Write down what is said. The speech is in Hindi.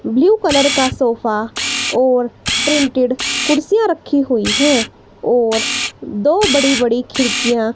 ब्लू कलर का सोफा और प्रिंटेड कुर्सियां रखी हुई हैं और दो बड़ी बड़ी खिड़कियां--